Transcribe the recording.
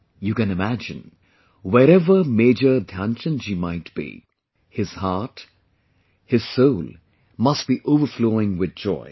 You can imagine...wherever Major Dhyanchand ji might be...his heart, his soul must be overflowing with joy